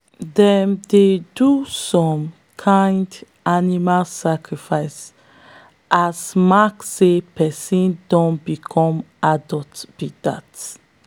them dey do some kin animal sacrifice as mark say person don become adult be dat.